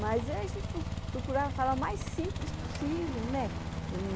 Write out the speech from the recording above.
Mas a gente procurava falar o mais simples possível, né?